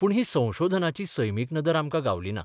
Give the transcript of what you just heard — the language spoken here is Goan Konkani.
पूण ही संशोधनाची सैमीक नदर आमकां गावली ना.